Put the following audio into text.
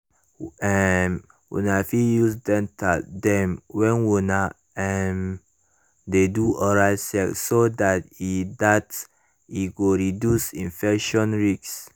um una fit use dental dam when una um de do oral sex so that e that e go reduce infection risk